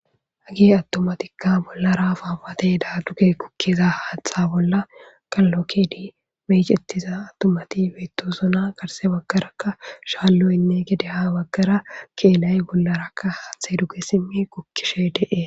Hage attomatikka bollara faawate daa duge kukkiza haatha bolla kallokkedi meyicettiza attomati beettosona garse baggarakka shaalloynne gedeha baggara keelay bollarakka haathe duge simmi kukkishe dee